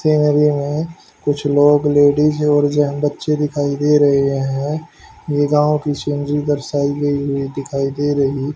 में कुछ लोग लेडीज और जहां बच्चे दिखाई दे रहे है ये गांव की सीनरी दर्शाई गई हुई दिखाई दे रही--